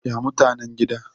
ya mutanen gida?